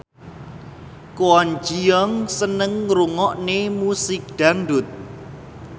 Kwon Ji Yong seneng ngrungokne musik dangdut